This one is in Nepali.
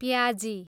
प्याजी